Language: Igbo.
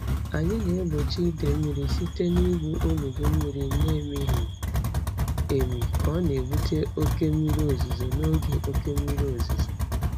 Anyị na-egbochi idei mmiri site n'igwu olulu mmiri na-emighị emi ka ọ na-ebute oke mmiri ozuzo n'oge oke mmiri ozuzo.